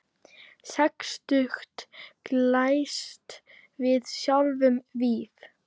Sextugt glæst við sjáum víf.